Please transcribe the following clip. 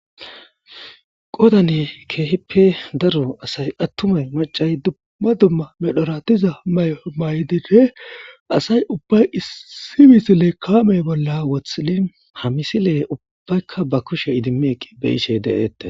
Godane keehippe daro asay attumay macay dumma dumma medhoratiza maymay dire asay ubbay issimis lekkamey bolla wothilin hamisile ubbaykka ba kushe idimeeqi beyisshey daeette.